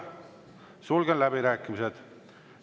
Sulgen läbirääkimised.